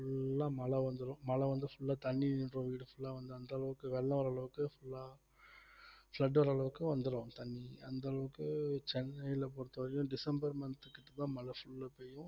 full ஆ மழை வந்துரும் மழை வந்து full ஆ தண்ணி இப்ப வீடு full ஆ வந்து அந்த அளவுக்கு வெள்ளம் வர்ற அளவுக்கு full ஆ flood வர அளவுக்கு வந்துரும் தண்ணி அந்த அளவுக்கு சென்னையில பொறுத்தவரைக்கும் டிசம்பர் month க்கு full அ மழை full அ பெய்யும்